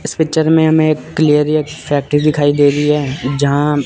इस पिक्चर में हमें एक एक फैक्ट्री दिखाई दे रही है जहा ह--